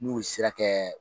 N'u sira kɛ